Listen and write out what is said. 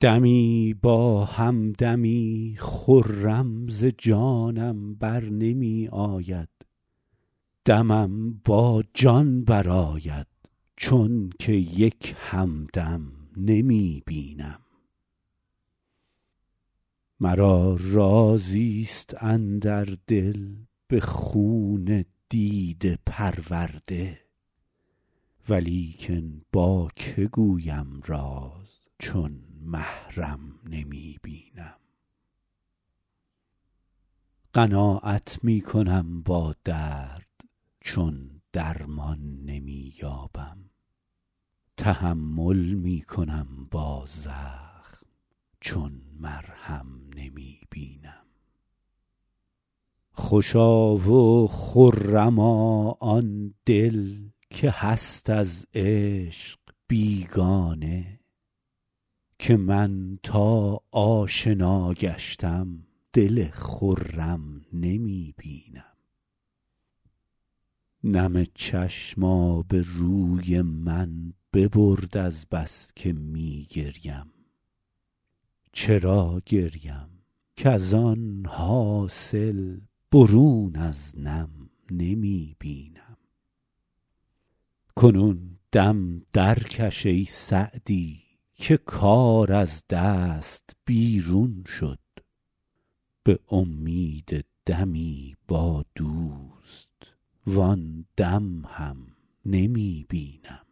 دمی با هم دمی خرم ز جانم بر نمی آید دمم با جان برآید چون که یک هم دم نمی بینم مرا رازی ست اندر دل به خون دیده پرورده ولیکن با که گویم راز چون محرم نمی بینم قناعت می کنم با درد چون درمان نمی یابم تحمل می کنم با زخم چون مرهم نمی بینم خوشا و خرما آن دل که هست از عشق بیگانه که من تا آشنا گشتم دل خرم نمی بینم نم چشم آبروی من ببرد از بس که می گریم چرا گریم کز آن حاصل برون از نم نمی بینم کنون دم درکش ای سعدی که کار از دست بیرون شد به امید دمی با دوست وآن دم هم نمی بینم